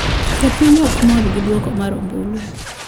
Jopiny okmor gi duoko mar ombulu